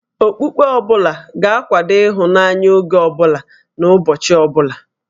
Okpukpe ọ bụla ga-akwado ịhụnanya, oge ọ bụla na ụbọchị ọ bụla